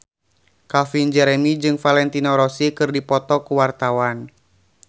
Calvin Jeremy jeung Valentino Rossi keur dipoto ku wartawan